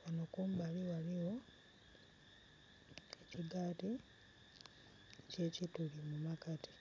ghano kumbali ghaligho ekigaati ekyekituli ghagati.